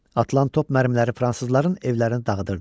Atılan top mərmiləri fransızların evlərini dağıdırdı.